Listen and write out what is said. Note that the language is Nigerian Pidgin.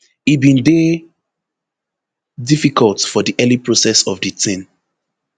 e bin dey difficult for di early process of di tin